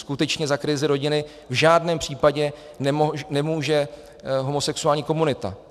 Skutečně za krizi rodiny v žádném případě nemůže homosexuální komunita.